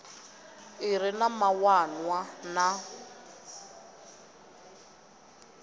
i re na mawanwa na